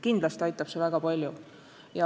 Kindlasti aitab see väga palju.